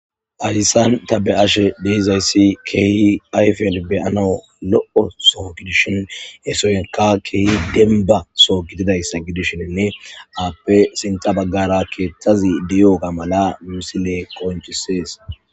adisan ta be ashe deizayssi keehi ayfel beyanau lo7o soo gidishin hesoynka keehi denba soo gididayssa gidishinne aappe sinta baggara keeththazi diyoga mala musile konchisees